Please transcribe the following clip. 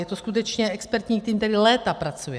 Je to skutečně expertní tým, který léta pracuje.